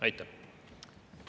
Aitäh!